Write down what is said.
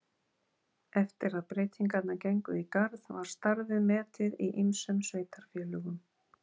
Eftir að breytingarnar gengu í garð var starfið metið í ýmsum sveitarfélögum.